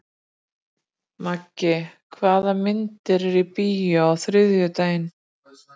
Maggi, hvaða myndir eru í bíó á þriðjudaginn?